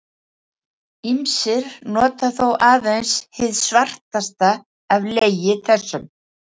Ýmsir nota þó aðeins hið svartasta af legi þessum.